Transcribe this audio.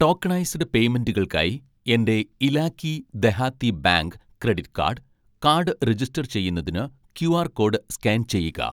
tokenised പേയ്മെൻ്റുകൾക്കായി എൻ്റെ Ilaqai Dehati bank credit card, card register ചെയ്യുന്നതിന് ക്യുആർ കോഡ് സ്കാൻ ചെയ്യുക